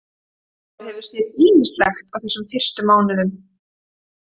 Maður hefur séð ýmislegt á þessum fyrstu mánuðum.